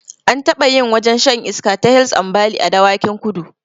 An taɓa yin wajen shan iska ta hils ambali a dawakin kudu